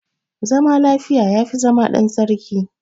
Zama lafiya, ya fi zama ɗan sarki.